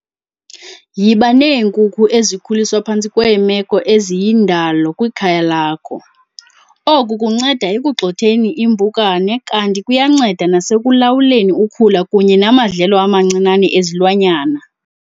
Yiba neenkuku ezikhuliswa phantsi kweemeko eziyindalo kwikhaya lakho. Oku kunceda ekugxotheni iimpukane kanti kuyanceda nasekulawuleni ukhula kunye namadlelo amancinane ezilwanyana.